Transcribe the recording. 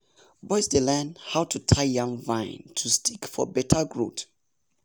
boys dey learn how to tie yam vine to stick for better growth.